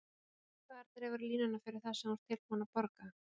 Hvar dregurðu línuna fyrir það sem þú ert tilbúinn að borga?